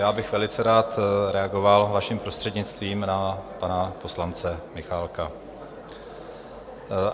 Já bych velice rád reagoval, vaším prostřednictvím, na pana poslance Michálka.